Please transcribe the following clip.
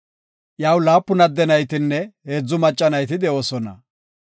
Iyaw laapun adde naytinne heedzu macca nayti de7oosona.